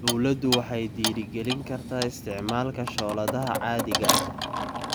Dawladdu waxay dhiirigelin kartaa isticmaalka shooladaha caadiga ah.